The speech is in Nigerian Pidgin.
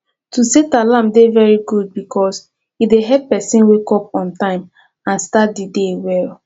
to set alarm dey very good because e dey help pesin wake up on time and start di day well